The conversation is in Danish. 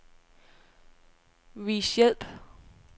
Vis hjælp.